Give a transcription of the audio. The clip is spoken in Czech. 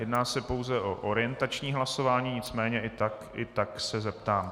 Jedná se pouze o orientační hlasování, nicméně i tak se zeptám.